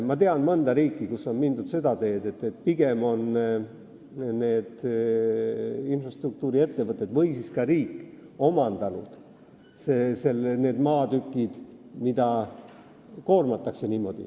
Ma tean mõnda riiki, kus on mindud seda teed, et pigem on infrastruktuuriettevõtted või siis riik omandanud need maatükid, mida niimoodi koormatakse.